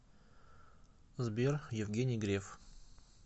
сбер евгений греф